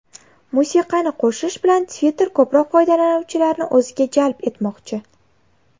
Musiqani qo‘shish bilan Twitter ko‘proq foydalanuvchilarni o‘ziga jalb etmoqchi.